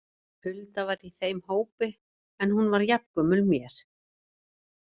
Hulda var í þeim hópi en hún var jafngömul mér.